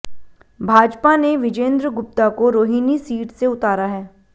भाजपा ने विजेंद्र गुप्ता को रोहिणी सीट से उतारा है